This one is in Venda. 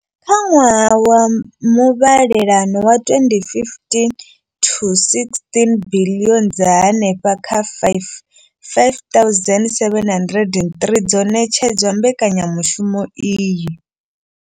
Kha ṅwaha wa muvhalelano wa 2015 to 16, biḽioni dza henefha kha R5 703 dzo ṋetshedzwa mbekanyamushumo iyi.